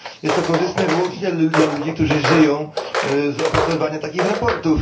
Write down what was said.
Jest to korzystne wyłącznie dla ludzi, którzy żyją z opracowywania takich sprawozdań.